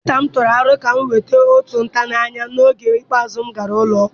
Dọkịta m tụrụ aro ka m nweta otu ntanye anya n'oge ikpeazụ m gara ụlọ ọgwụ.